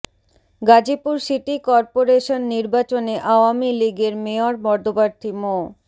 Gazipur city corporation নির্বাচনে আওয়ামী লীগের mayor পদপ্রার্থী মো